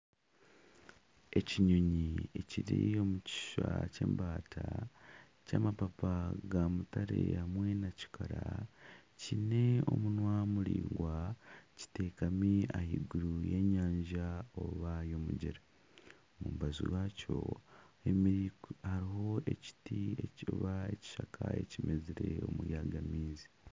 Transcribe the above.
Ekinyonyi ekiri omu kishusha ky'embata ky'amapapa ga mutare hamwe na kikara kiine omunwa muraingwa kitekami ah'eiguru y'enyanja. Omu mbaju rwakyo harimu ekishaka ekimezire omuri ago maizi.